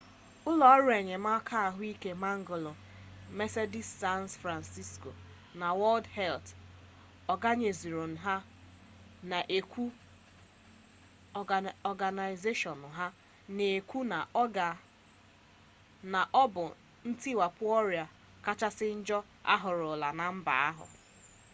ụlọ ọrụ enyemaka ahụike mangola 'medecines sans frontieres' na wọld helt ọganaịzeshọn na-ekwụ na ọ bụ ntiwapụ ọrịa kachasị njọ ahụrụla na mba ahụ